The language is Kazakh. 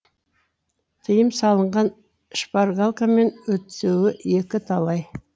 тыйым салынған шпаргалкамен өтуі екі талай